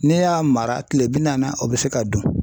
N'e y'a mara kile bi naani o bɛ se ka dun.